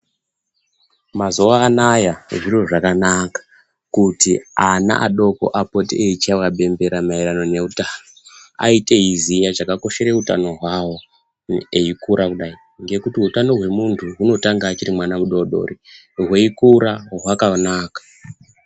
Mazuwa anaya zviro zvakanaka kuti ana adoko apite eichaiwa bembera maererano neutano aite eiziya chakakoshere utano hwavo eikura kudayi ngekuti utano hwemuntu hunotanga achiri mwana mudodori hweikurwa hwakanaka .